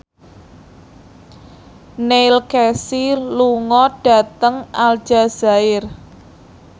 Neil Casey lunga dhateng Aljazair